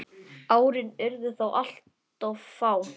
Árin urðu þó alltof fá.